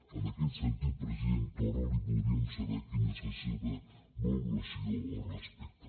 en aquest sentit president torra voldríem saber quina és la seva valoració al respecte